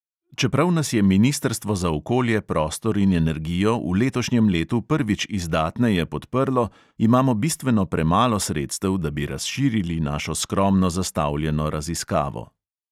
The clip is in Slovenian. Čeprav nas je ministrstvo za okolje, prostor in energijo v letošnjem letu prvič izdatneje podprlo, imamo bistveno premalo sredstev, da bi razširili našo skromno zastavljeno raziskavo.